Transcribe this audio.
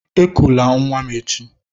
Ekụla nwa m echi!